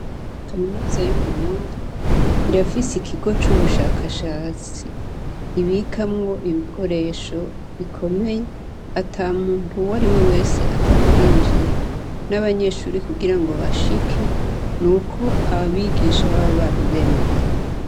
Kaminiza y'Uburundi irafise ikigo c'ubushakashatsi ibikamwo ibikoresho bikomeye ata muntu uwariwe wese apfa kuhinjira. N'abanyeshure kugirango bahashike nuko abigisha baba babimereye.